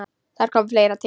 Þar kom fleira til.